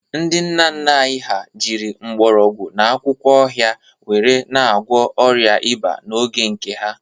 Ndị nna anyị ha jiri mgbọrọgwụ na akwụkwọ ọhịa were na-agwọ ọrịa ịba n'oge nke ha